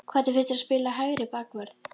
Hvernig finnst þér að spila hægri bakvörð?